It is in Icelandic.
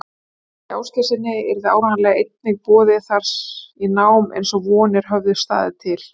Baldri Ásgeirssyni, yrði áreiðanlega einnig boðið þar í nám, eins og vonir höfðu staðið til.